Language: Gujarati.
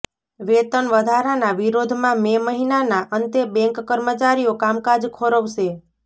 વેતન વધારાનાં વિરોધમાં મે મહિનાના અંતે બેંક કર્મચારીઓ કામકાજ ખોરવશે